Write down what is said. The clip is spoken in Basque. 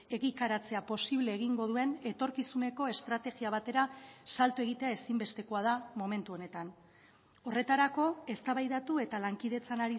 egikaritzea posible egingo duen etorkizuneko estrategia batera salto egitea ezinbestekoa da momentu honetan horretarako eztabaidatu eta lankidetzan